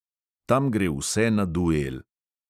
Tam gre vse na duel.